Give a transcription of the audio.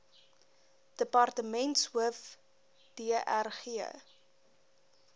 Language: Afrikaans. departementshoof dr g